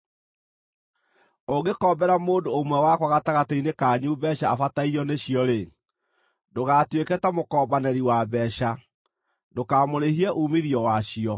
“Ũngĩkombera mũndũ ũmwe wakwa gatagatĩ-inĩ kanyu mbeeca abatairio nĩcio-rĩ, ndũgatuĩke ta mũkombanĩri wa mbeeca; ndũkamũrĩhie uumithio wacio.